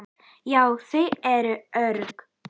Já, þau eru örugg